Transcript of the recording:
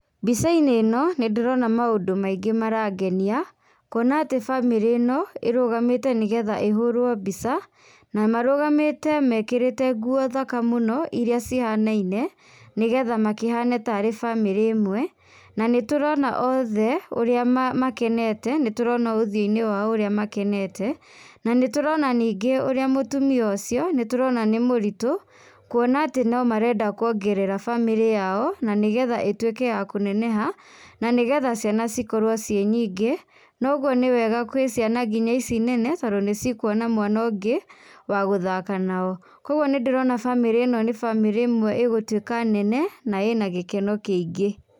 Mbica-inĩ ĩno ,nĩ ndĩrona maũndũ maingĩ marangenia, kuona atĩ bamĩrĩ ĩno ĩrũgamĩte nĩgetha ĩhũũrũo mbica, namarũgamĩte mekĩrĩte nguo thaka mũno, iria cihanaine, nĩgetha makĩhane tarĩ bamĩrĩ ĩmwe, na nĩ tũrona othe ũrĩa makenete, nĩ tũrona ũthiũ -inĩ wao ũrĩa makenete, na nĩ tũrona nyingĩ ũrĩa mũtumia ũcio, nĩ tũrona nĩ mũritũ, kuona atĩ no marenda kwongerera bamĩrĩ yao, na nĩ getha ĩtwĩke ya kũneneha, na nĩgetha ciana cikorũo ciĩ nyingĩ, noguo nĩ wega ngina gwĩ ciana ici nene, tondũ nĩ cikuona mwana ũngĩ, wa gũthaka nao, kwoguo nĩ ndĩrona bamĩrĩ ĩno nĩ bamĩrĩ ĩmwe ĩgũtwíĩa nenena, na ĩna gĩkeno kĩingĩ.